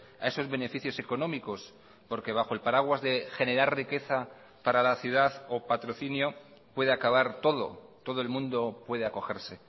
a esos beneficios económicos porque bajo el paraguas de generar riqueza para la ciudad o patrocinio puede acabar todo todo el mundo puede acogerse